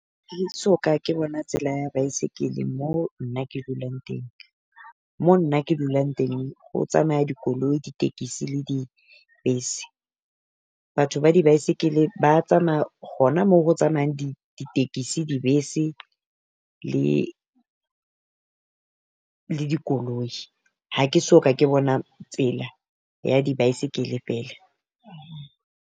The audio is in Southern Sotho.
So ka ke bona tsela ya baesekele mo nna ke dulang teng, mo nna ke dulang teng ho tsamaya dikoloi ditekesi le dibese. Batho ba di baesekele ba tsamaya hona mo ho tsamayang di ditekesi, dibese le le dikoloi. Ha ke so ka ke bona tsela ya di baesekele feela.